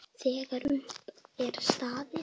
Þegar upp er staðið?